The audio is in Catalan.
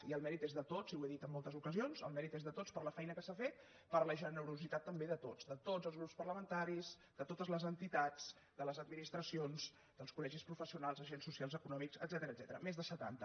i el mèrit és de tots i ho he dit en moltes ocasions el mèrit és de tots per la feina que s’ha fet per la generositat també de tots de tots els grups parlamentaris de totes les entitats de les administracions dels colprofessionals d’agents socials econòmics etcètera més de setanta